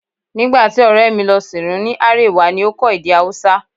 Nígbà tí ọ̀rẹ́ mi lọ sìnrú ìlú ní Árèwá ni ó kọ́ èdè Haúsá